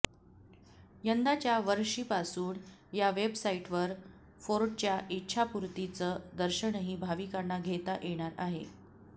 यंदाच्या वर्षीपासून या वेबसाईटवर फोर्टच्या इच्छापूर्तीचं दर्शनही भाविकांना घेता येणार आहे